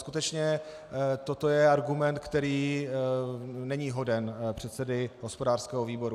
Skutečně toto je argument, který není hoden předsedy hospodářského výboru.